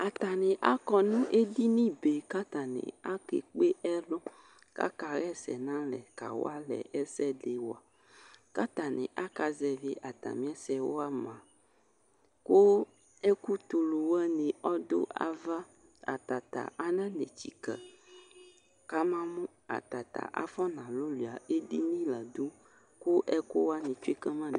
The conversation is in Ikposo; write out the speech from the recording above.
Atanɩ akɔ nʋ edinibe kʋ atanɩ akekpe ɛlʋ kʋ akaɣa ɛsɛ nʋ alɛ kawa alɛ ɛsɛ dɩ wa Kʋ atanɩ akazɛvɩ atamɩ ɛsɛ yɛ wa mʋa, kʋ ɛkʋtulu wanɩ ɔdʋ ava Ata ta ananetsikǝ kamamʋ ata ta afɔnalʋlʋɩa edini la dʋ kʋ ɛkʋ wanɩ tsue ka ma